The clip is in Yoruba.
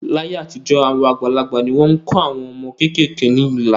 Láyé àtijọ́, àwọn àgbàlagbà ni wọ́n kọ àwọn ọmọ kéékèèké ní ilà